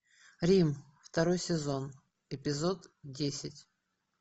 рим второй сезон эпизод десять